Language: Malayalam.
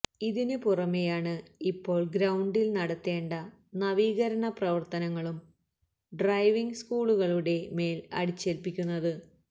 ഇതിന് പുറമെയാണ് ഇപ്പോള് ഗ്രൌണ്ടില് നടത്തേണ്ട നവീകരണ പ്രവര്ത്തനങ്ങളും ഡ്രൈവിംഗ് സ്കൂളുകളുടെ മേല് അടിച്ചേല്പ്പിക്കുന്നത്